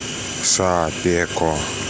шапеко